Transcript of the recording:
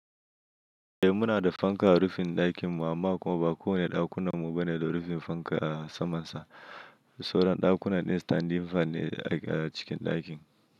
Eh muna da fanka a rufin ɗakin mu amma kuma ba kowane ɗakunan mu bane da rufin fanka a samansa. Sauran ɗakunan din standing fan ne a cikin ɗakin.